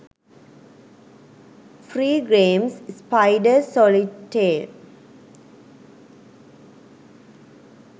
free games spider solitaire